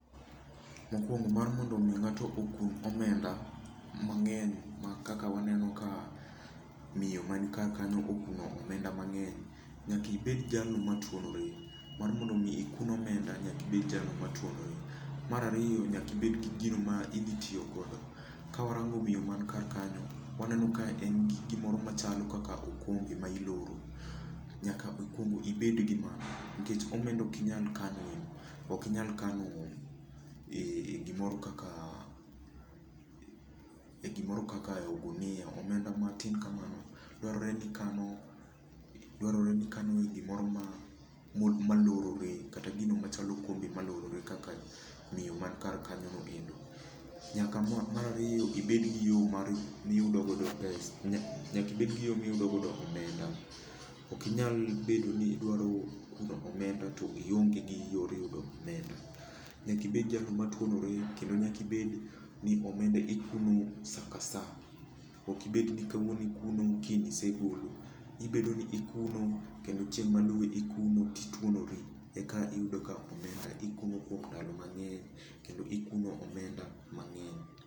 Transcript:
Mokuongo mar mondo mi ng'ato okun omenda mang'eny ma kaka waneno ka miyo man kar kanyo okuno omenda mang'eny, nyaka ibed jalno matuonore. Mar mondo mi ikun omenda nyaka ibed jalno matuonore. Mar ariyo nyaka ibed gi gino ma idhi tiyo godo. Ka warango miyo man kar kanyo, waneno ka en gi gimoro machalo kaka okombe ma iloro. Nyaka okuongo ibed gi mano, nikech omenda okinyal kano e, okinyal kano e gimoro kaka, e gimoro kaka e ogunia. Omenda matin kamano dwarore ni ikano, dwarore ni ikano e gimoro ma lorore, kata gino ma chalo okombe malorore kaka miyo man kar kanyo noendo. Nyaka mar ariyo ibed gi yo mar miyudo godo pesa. Nyaka ibed gi yo miyudo godo omenda. Okinyal bedo ni idwaro yudo omenda to ionge gi yor yudo omenda. Nyaka ibed jalno matuonore kendo nyaka ibed ni omenda ikuno sa ka sa. Ok ibed ni kawuono ikuno, kiny isegolo. Ibedo ni ikuno, kendo chieng' maluwe ikuno tituonori e ka iyudo ka omenda ikuno kuom ndalo mang'eny kendo ikuno omenda mang'eny.